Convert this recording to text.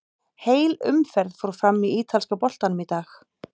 Heil umferð fór fram í ítalska boltanum í dag.